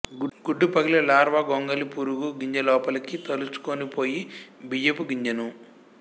గుడ్డు పగిలి లార్వా గొంగళి పురుగు గింజలోపలికి తొలచుకొనిపోయి బియ్యపు గింజను